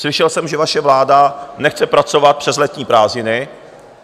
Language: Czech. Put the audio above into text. Slyšel jsem, že vaše vláda nechce pracovat přes letní prázdniny.